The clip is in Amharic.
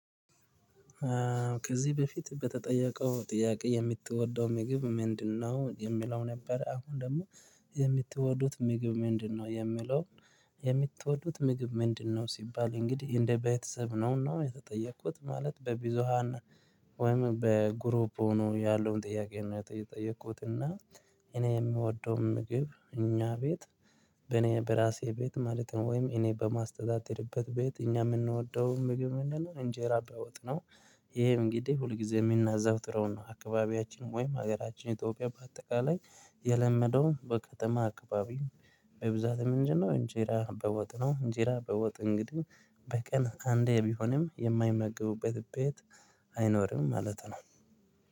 ከዚህ በፊት በተጠየቀው ጥያቄ የምትወደው ምግብ ምንድነው የሚለው ነበር? አሁን ደግሞ የምትወዱት ምግብ ምንድነው የሚለው? የምትወዱት ምግብ ምንድነው ሲባል እንግዲህ እንደ ቤተሰብ ነውና የተጠየኩት ማለት በቢዞሃን ወይም በግሩፕ ሆኖ ያለውን ጥያቄ እና የጠየቁት እና እኔ የምወደው ምግብ እኛ ቤት በእኔ በራሴ ቤት ማለት ነው። ወይም እኔ በማስተዳደርበት ቤት እኛ የምንወደውን ምግብ ምንድነው? እንጀራ በወጥ ነው። ይሄ እንግዲህ ሁልጊዜ የምናዛወትረው ነው። አካባቢያችን ወይም ሀገራችን ኢትዮጵያ በአጠቃላይ የለመደው በከተማ አካባቢ በብዛት ምንድን ነው እንጀራ በወጥ ነው። እንጀራ በወጥ እንግዲህ በቀን አንዴ ቢሆንም የማይመገቡበት ቤት አይኖርም ማለት ነው።